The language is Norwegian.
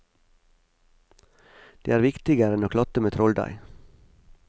Det er viktigere enn å klatte med trolldeig.